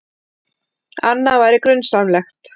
Annað væri grunsamlegt.